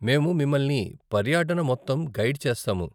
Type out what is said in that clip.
మేము మిమల్ని పర్యాటన మొత్తం గైడ్ చేస్తాము.